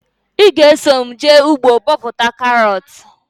Ị ga eso mụ jee ugbo bọpụta karọt?